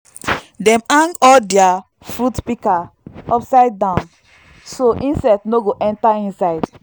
dem hang all dia fruit pika upside down so insect no go enter inside